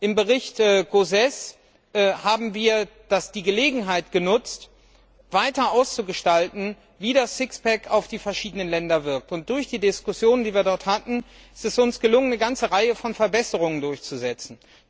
Im Bericht Gauzès haben wir die Gelegenheit genutzt, weiter auszugestalten, wie das Sixpack auf die verschiedenen Länder wirkt. Durch die Diskussion, die wir dort hatten, ist es uns gelungen, eine ganze Reihe von Verbesserungen durchzusetzen.